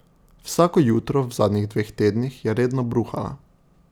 Vsako jutro v zadnjih dveh tednih je redno bruhala.